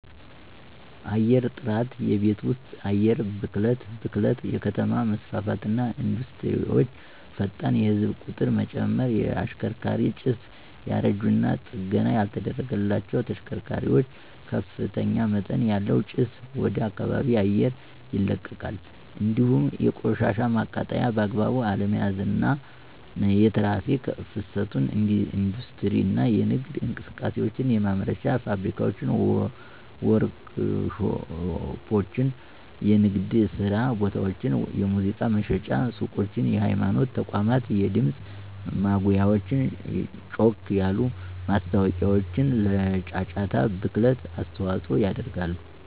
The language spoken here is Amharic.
_የአየርጥራት የቤት ወስጥ የአየር ብክለት ብክለት_የከተማ መስፋፋትና ኢንዱስትሪወቸ፣ ፈጣን የህዝብ ቂጥርመጨመር። _የሽከርካሪ ጭስ ያረጂና ጠገና ያልተደረገላቸዉ ተሽከርካሪዋች ከፍተኛመጠን ያለዉ ጭስ ወደከባቢ አየር ይለቃል እንዲሁም የቆሻሻ ማቃጠል በአግባቡ አለመያዝ፣ አና የትራክ ፍሰት የኢንዲስትሪ እና የነግድ እንቅሰቃሴዎች፣ የማምረቻ ፋብሪካዋች፣ ወርክሾፖች፣ የንግድየስራቦታወች፣ የሙዚቃ መሽጫ ሱቆች፣ የሀይማኖት ተቋማት የድምጽ ማጉያወች ጮክ ያሉ ማስታወቂያዎችለጫጫታ ብክለት አስተዋጾ ያደርጋሉ።